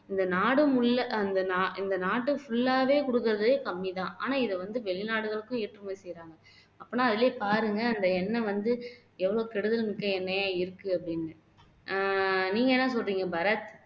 இந்த நாடு முல்லை அஹ் அந்த நா இந்த நாட்டு full ஆவே குடுக்கிறதே கம்மிதான் ஆனா இதை வந்து வெளிநாடுகளுக்கும் ஏற்றுமதி செய்றாங்க அப்பன்னா அதுலயே பாருங்க அந்த எண்ணெய் வந்து எவ்வளவு கெடுதல்மிக்க எண்ணெயா இருக்கு அப்படின்னு அஹ் நீங்க என்ன சொல்றீங்க பாரத்